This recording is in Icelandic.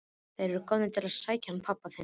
Þeir eru komnir til að sækja hann pabba þinn.